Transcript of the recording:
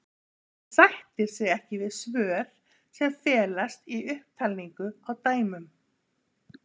Hann sættir sig ekki við svör sem felast í upptalningu á dæmum.